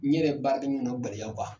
N ne yɛrɛ gɛnlɛya